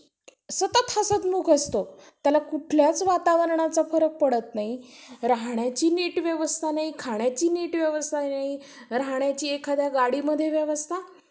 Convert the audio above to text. शिक्षणमध्ये प~ पहिली पायरी म्हणजे. शिक्षणाची तर त्याच्यात लिहिणं, वाचणं शिकवलं जातं. अं म्हणजे, लहानपणी म्हणजे जे पण लेकरू असेल शाळेत. तर आता पहिले तर,